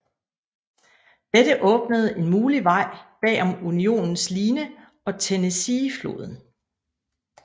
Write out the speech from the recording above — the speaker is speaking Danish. Dette åbnede en mulig vej bag om Unionens line og Tennessee floden